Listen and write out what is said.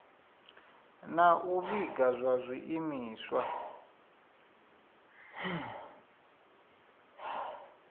na u vhiga zwa zwiimiswa